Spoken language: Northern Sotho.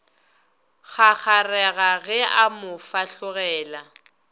kgakgarega ge a mo fahlogela